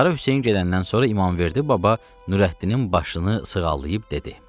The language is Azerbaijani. Qara Hüseyn gedəndən sonra İmamverdi baba Nurəddinin başını sığallayıb dedi: